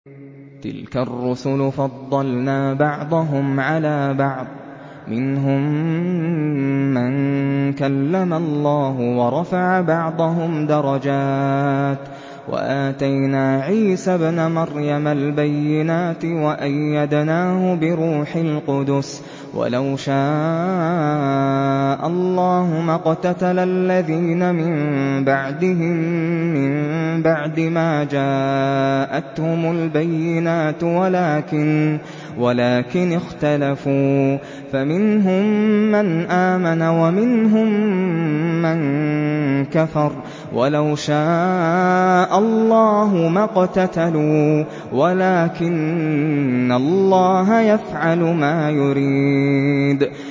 ۞ تِلْكَ الرُّسُلُ فَضَّلْنَا بَعْضَهُمْ عَلَىٰ بَعْضٍ ۘ مِّنْهُم مَّن كَلَّمَ اللَّهُ ۖ وَرَفَعَ بَعْضَهُمْ دَرَجَاتٍ ۚ وَآتَيْنَا عِيسَى ابْنَ مَرْيَمَ الْبَيِّنَاتِ وَأَيَّدْنَاهُ بِرُوحِ الْقُدُسِ ۗ وَلَوْ شَاءَ اللَّهُ مَا اقْتَتَلَ الَّذِينَ مِن بَعْدِهِم مِّن بَعْدِ مَا جَاءَتْهُمُ الْبَيِّنَاتُ وَلَٰكِنِ اخْتَلَفُوا فَمِنْهُم مَّنْ آمَنَ وَمِنْهُم مَّن كَفَرَ ۚ وَلَوْ شَاءَ اللَّهُ مَا اقْتَتَلُوا وَلَٰكِنَّ اللَّهَ يَفْعَلُ مَا يُرِيدُ